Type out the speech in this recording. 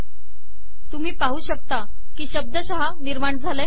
तुम्ही पाहू शकता की शब्दशः नि र्माण झाले